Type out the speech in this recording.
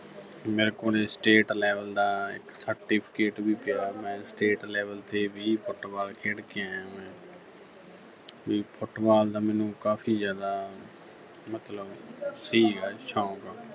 ਮੇਰੇ ਕੋਲੇ state level ਦਾ ਇੱਕ certificate ਵੀ ਪਿਆ। ਮੈਂ state level ਤੇ ਵੀ Football ਖੇਡ ਕੇ ਆਇਆ ਹੋਇਆਂ ਵੀ Football ਦਾ ਮੈਨੂੰ ਕਾਫੀ ਜ਼ਿਆਦਾ ਮਤਲਬ ਸੀਗਾ ਸ਼ੌਕ